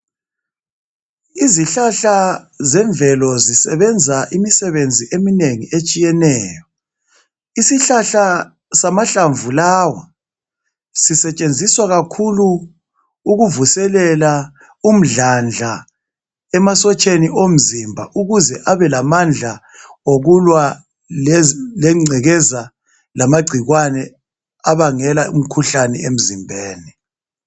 Izihlahla zemvelo zisebenza imisebenzi eminengi etshiyeneyo isihlahla samahlamvu lawa sisetshenziswa kakhulu ukuvuselela umdlandla emasotsheni omzimba ukuze abelamandla okulwa lengcekeza lamagcikwane abangela umkhuhlane emzimbeni.